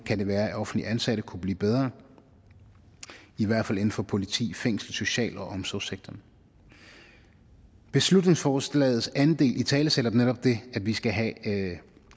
kan være at offentligt ansatte kunne blive bedre i hvert fald inden for politi fængsler social og omsorgssektoren beslutningsforslagets anden del italesætter netop det at vi skal have